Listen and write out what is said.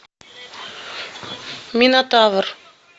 минотавр